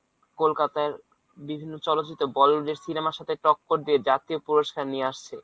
কলকাতার বিভিন্ন চলচিত্র bollywood এর cinema র সাথে টক্কর দিয়ে জাতীয় পুরস্কার নিয়ে আসছে।